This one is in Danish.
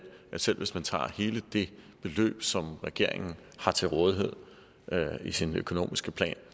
at selv hvis man tager hele det beløb som regeringen har til rådighed i sin økonomiske plan